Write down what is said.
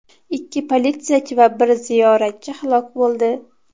Ikki politsiyachi va bir ziyoratchi halok bo‘ldi.